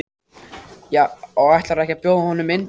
Og ætlarðu ekki að bjóða honum inn drengur?